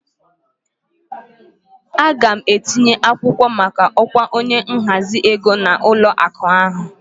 Aga m etinye akwụkwọ maka ọkwa onye nhazi ego na ụlọ akụ ahụ